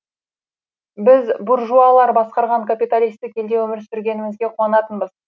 біз буржуалар басқарған капиталистік елде өмір сүрмегенімізге қуанатынбыз